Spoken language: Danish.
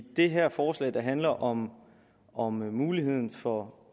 det her forslag der handler om om muligheden for